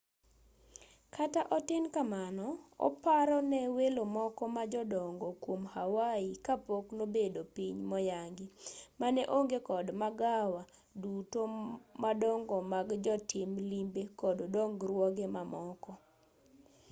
kata otin kamano oparo ne welo moko ma jodongo kwom hawaii kapok nobedo piny moyangi mane onge kod magawa duto madongo mag jotim limbe kod dongruoge mamoko